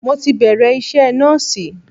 Mo ti bẹ̀rẹ̀ iṣẹ́ nọ́ọ̀sì.